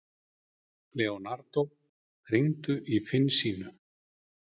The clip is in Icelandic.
Leonardo, hringdu í Finnsínu.